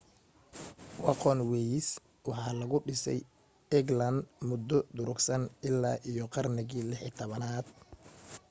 wagonways waxa lagu dhisay england muddo durugsan ilaa iyo qarnigii 16aad